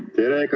Tere!